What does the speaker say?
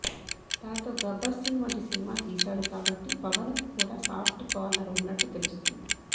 తనతో గబ్బర్ సింగ్ వంటి సినిమా తీసాడు కాబట్టి పవన్ కు కూడా సాఫ్ట్ కార్నెర్ ఉన్నట్లు తెలుస్తోంది